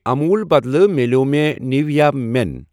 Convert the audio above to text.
اموٗل بدلہٕ مِلٮ۪و مےٚ نیٖویا مٮ۪ن۔